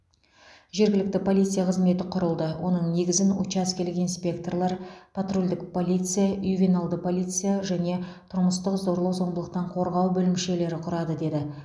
жергілікті полиция қызметі құрылды оның негізін учаскелік инспекторлар патрульдік полиция ювеналды полиция және тұрмыстық зорлық зомбылықтан қорғау бөлімшелері құрады деді